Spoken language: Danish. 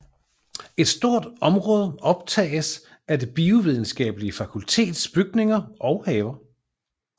Et stort område optages af Det Biovidenskabelige Fakultets bygninger og haver